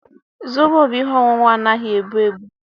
Zobo bụ ihe ọṅụṅụ anaghị ebu ebu